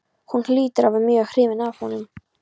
Hún hlýtur að vera mjög hrifin af honum.